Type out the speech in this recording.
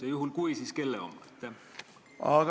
Ja juhul kui, siis kelle oma?